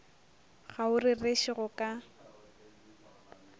ga o rereše go ka